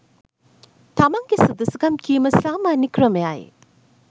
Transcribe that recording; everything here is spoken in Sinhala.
තමන්ගේ සුදුසුකම් කීම සාමාන්‍ය ක්‍රමයයි.